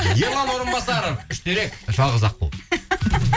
ерлан орынбасаров үштерек жалғыз аққу